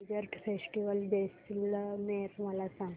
desert festival Jaisalmer मला सांग